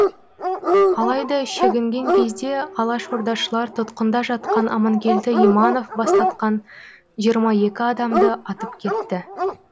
алайда шегінген кезде алашордашылар тұтқында жатқан аманкелді иманов бастатқан жиырма екі адамды атып кетті